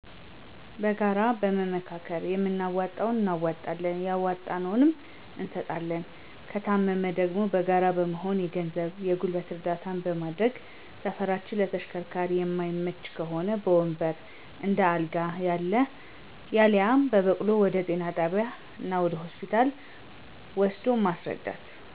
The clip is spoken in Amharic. በጋራ በመመካከር የምናዋጣውን እናዋጠለን ያዋጣነውን እንሰጣለን። ከታመመ ደግሞ በጋራ በመሆን የገንዘብ የገልበት እረዳታ በመደረግ ሰፈራችን ለተሸከርካሪ የመይመች ከሆ በወንበር፣ እንደ አልጋ፣ ያልየ በበቅሉ ወደ ጤና ጣቢያ እና ሆስፒታ ወሰዶ ማሰረዳት።